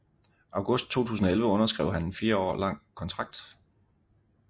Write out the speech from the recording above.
August 2011 underskrev han en fire år lang kontrakt